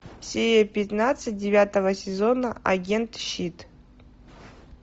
серия пятнадцать девятого сезона агенты щит